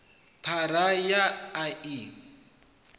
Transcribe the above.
phara ya a a i